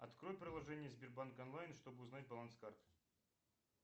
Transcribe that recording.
открой приложение сбербанк онлайн чтобы узнать баланс карты